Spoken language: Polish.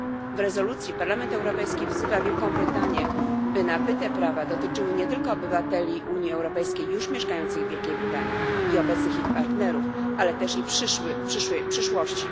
W rezolucji Parlament Europejski wzywa Wielką Brytanię, by nabyte prawa dotyczyły nie tylko obywateli Unii Europejskiej już mieszkających w Wielkiej Brytanii i obecnych ich partnerów, ale też i przyszłości.